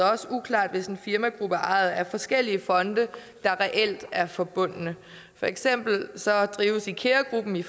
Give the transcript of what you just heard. også uklart hvis en firmagruppe er ejet af forskellige fonde der reelt er forbundne for eksempel drives ikea gruppen i